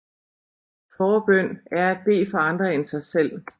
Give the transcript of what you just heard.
Forbøn er at bede for andre end sig selv